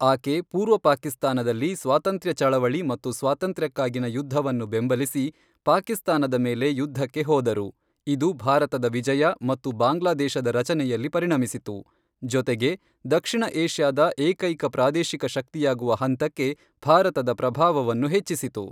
ಆಕೆ ಪೂರ್ವ ಪಾಕಿಸ್ತಾನದಲ್ಲಿ ಸ್ವಾತಂತ್ರ್ಯ ಚಳವಳಿ ಮತ್ತು ಸ್ವಾತಂತ್ರ್ಯಕ್ಕಾಗಿನ ಯುದ್ಧವನ್ನು ಬೆಂಬಲಿಸಿ ಪಾಕಿಸ್ತಾನದ ಮೇಲೆ ಯುದ್ಧಕ್ಕೆ ಹೋದರು, ಇದು ಭಾರತದ ವಿಜಯ ಮತ್ತು ಬಾಂಗ್ಲಾದೇಶದ ರಚನೆಯಲ್ಲಿ ಪರಿಣಮಿಸಿತು, ಜೊತೆಗೆ, ದಕ್ಷಿಣ ಏಷ್ಯಾದ ಏಕೈಕ ಪ್ರಾದೇಶಿಕ ಶಕ್ತಿಯಾಗುವ ಹಂತಕ್ಕೆ ಭಾರತದ ಪ್ರಭಾವವನ್ನು ಹೆಚ್ಚಿಸಿತು.